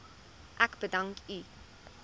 ek u bedank